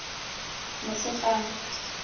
motshegang